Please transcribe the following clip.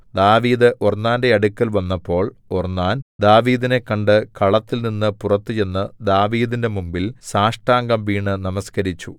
ദാവീദ് ഒർന്നാന്റെ അടുക്കൽ വന്നപ്പോൾ ഒർന്നാൻ ദാവീദിനെ കണ്ടു കളത്തിൽനിന്നു പുറത്തുചെന്ന് ദാവീദിന്റെ മുമ്പിൽ സാഷ്ടാംഗം വീണ് നമസ്കരിച്ചു